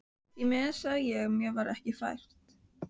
Því miður sá ég mér það ekki fært.